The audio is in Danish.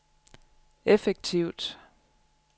effektivt